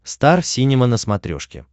стар синема на смотрешке